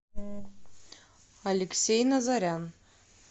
алексей назарян